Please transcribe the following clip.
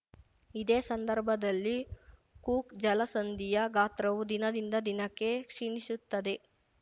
ಇದೇ ಸಂದರ್ಭದಲ್ಲಿ ಕೂಕ್‌ ಜಲಸಂಧಿಯ ಗಾತ್ರವು ದಿನದಿಂದ ದಿನಕ್ಕೆ ಕ್ಷೀಣಿಸುತ್ತದೆ